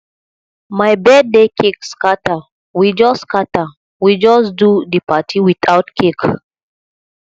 my birthday cake scatter we just scatter we just do di party without cake